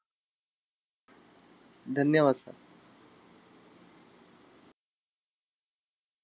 धन्यवाद sir!